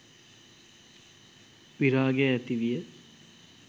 විරාගය ඇති විය.